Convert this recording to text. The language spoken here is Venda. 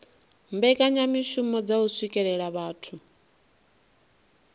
mbekanyamishumo dza u swikelela vhathu